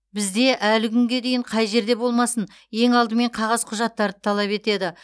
бізде әлі күнге дейін қай жерде болмасын ең алдымен қағаз құжаттарды талап етеді